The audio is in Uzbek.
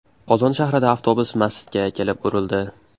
Qozon shahrida avtobus masjidga kelib urildi.